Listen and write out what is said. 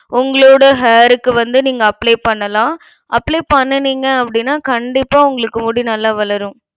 உங்களோட hair க்கு வந்து நீங்க apply பண்ணலாம் apply பண்ணுனீங்க அப்டினா கண்டிப்பா உங்களுக்கு முடி நல்லா வளரும்.